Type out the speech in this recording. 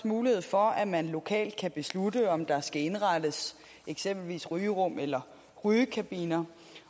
mulighed for at man lokalt kan beslutte om der skal indrettes eksempelvis rygerum eller rygekabiner